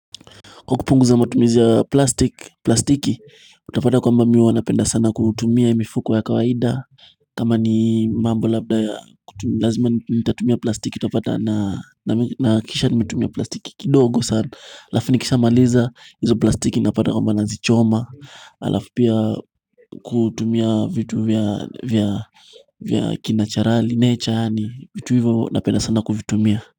Kwa kupunguza matumizi ya plastiki, utapata kwamba mi huwa napenda sana kutumia mifuko ya kawaida kama ni mambo labda ya kutumia, lazima nitatumia plastiki utapata na kisha nimetumia plastiki kidogo Halafu nikishamaliza, hizo plastiki napata kwamba nazichoma halafu pia kutumia vitu vya kinacharali, nature, yaani vitu hivyo napenda sana kuvitumia.